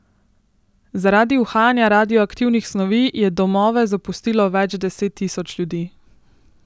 Zaradi uhajanja radioaktivnih snovi je domove zapustilo več deset tisoč ljudi.